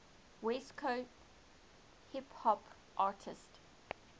west coast hip hop artists